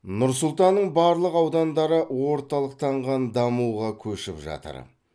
нұр сұлтанның барлық аудандары орталықтанған дамуға көшіп жатыр